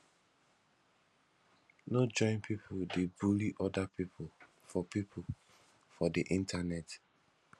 no join pipo dey bully oda pipo for pipo for di internet